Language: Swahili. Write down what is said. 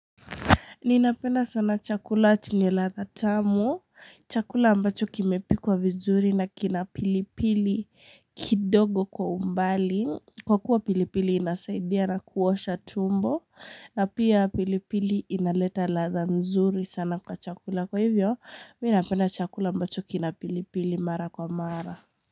Ninapenda sana chakula chenye ladha tamu, chakula ambacho kimepikwa vizuri na kina pilipili kidogo kwa umbali. Kwa kuwa pilipili inasaidia na kuosha tumbo, na pia pilipili inaleta ladha nzuri sana kwa chakula. Kwa hivyo, mimi napenda chakula ambacho kinapilipili mara kwa mara.